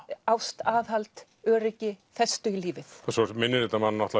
ást aðhald öryggi festu í lífið svo minnir þetta mann